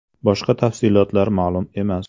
Boshqa tafsilotlar ma’lum emas.